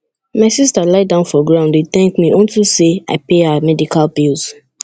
my sister lie down for ground dey dey thank me unto say i pay her medical bills